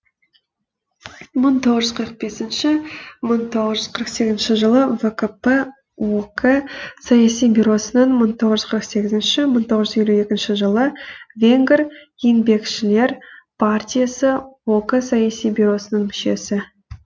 мың тоғыз жүз қырық бесінші мың тоғызыншы қырық сегізінші жылы вкп ок саяси бюросының мың тоғыз жүз қырық сегізінші мың тоғыз жүз елу екінші жылы венгр еңбекшілер партиясы ок саяси бюросының мүшесі